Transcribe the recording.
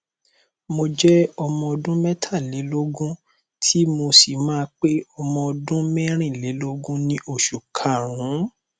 mo jẹ ọmọ ọdún mẹtàlélógún tí mo sì máa pé ọmọ ọdún mẹrìnlélógún ní oṣù karùnún